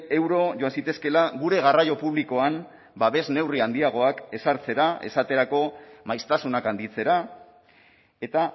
euro joan zitezkeela gure garraio publikoan babes neurri handiagoak ezartzera esaterako maiztasunak handitzera eta